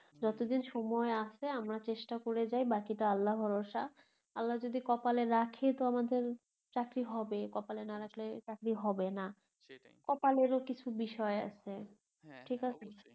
যতদিন সময় আছে আমরা চেষ্টা করে যাই বাকিটা আল্লাহ ভরসা আল্লাহ যদি কপালে রাখে তো আমাদের চাকরি হবে কপালে না রাখলে চাকরি হবে না সেটাই কপালেরও কিছু বিষয় আছে ঠিকাছে